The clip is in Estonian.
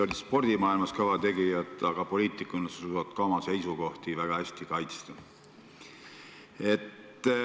Olid spordimaailmas kõva tegija, aga ka poliitikuna suudad sa oma seisukohti väga hästi kaitsta.